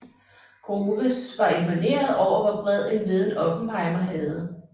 Groves var imponeret over hvor bred en viden Oppenheimer havde